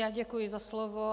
Já děkuji za slovo.